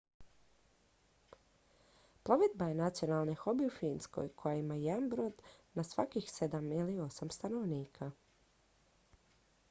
plovidba je nacionalni hobi u finskoj koja ima jedan brod na svakih sedam ili osam stanovnika